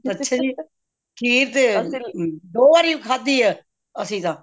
ਅੱਛਾ ਜੀ ਖੀਰ ਤੇ ਦੋ ਵਾਰੀ ਖਾਦੀ ਅੱਸੀ ਤਾਂ